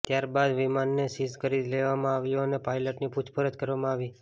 ત્યારબાદ વિમાનને સીઝ કરી લેવામાં આવ્યુ અને પાયલટની પૂછપરછ કરવામાં આવી